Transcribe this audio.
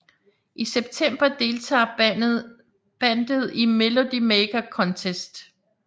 I semptember deltager bandet i Melody Maker Contest